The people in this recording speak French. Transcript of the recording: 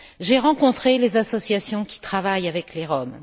J'ai rencontré les associations qui travaillent avec les Roms.